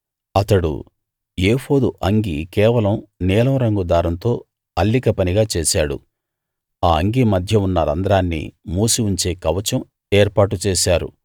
అతడు ఏఫోదు అంగీ కేవలం నీలం రంగు దారంతో అల్లిక పనిగా చేశాడు ఆ అంగీ మధ్య ఉన్న రంధ్రాన్ని మూసి ఉంచే కవచం ఏర్పాటు చేశారు